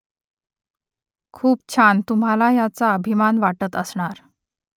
खूप छान तुम्हाला याचा अभिमान वाटत असणार